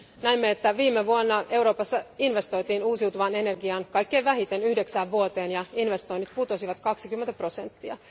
Näemme, että viime vuonna Euroopassa investoitiin uusiutuvaan energiaan kaikkein vähiten yhdeksään vuoteen ja investoinnit putosivat 20 prosenttia.